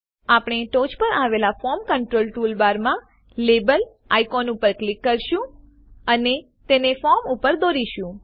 આપણે ટોંચ પર આવેલ ફોર્મ કંટ્રોલ ટૂલબારમાં લાબેલ આઇકોન ઉપર ક્લિક કરીશું અને તેને ફોર્મ પર દોરીશું